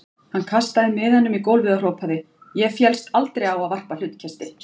Hann kastaði miðanum í gólfið og hrópaði: Ég féllst aldrei á að varpa hlutkesti.